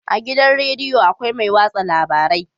A gidan rediyo akwai mai watsa labarai